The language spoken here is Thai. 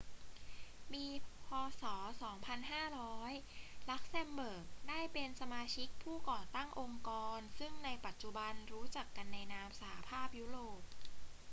ปี พ. ศ. 2500 ลักเซมเบิร์กได้เป็นสมาชิกผู้ก่อตั้งองค์กรซึ่งในปัจจุบันรู้จักกันในนาม สหภาพยุโรป